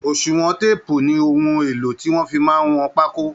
oṣùwọn téèpù ni ohun èlò tí wọ́n fi máa ń wọn pákó